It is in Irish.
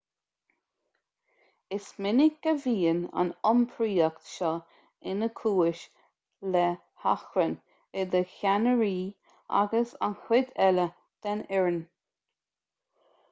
is minic a bhíonn an iompraíocht seo ina chúis le hachrann idir cheannairí agus an chuid eile den fhoireann